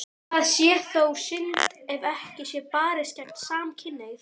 Það sé þó synd ef ekki sé barist gegn samkynhneigð.